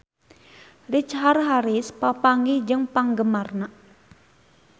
Richard Harris papanggih jeung penggemarna